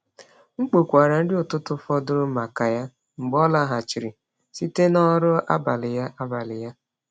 M kpokwara nri ụtụtụ fọdụrụ maka ya mgbe ọ lọghachiri site na ọrụ abalị ya. abalị ya.